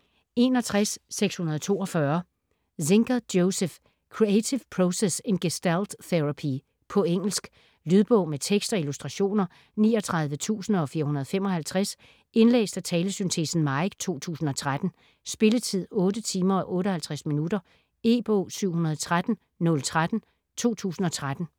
61.642 Zinker, Joseph: Creative process in Gestalt therapy På engelsk. Lydbog med tekst og illustrationer 39455 Indlæst af talesyntesen Mike, 2013. Spilletid: 8 timer, 58 minutter. E-bog 713013 2013.